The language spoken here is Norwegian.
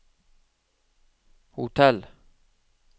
hotell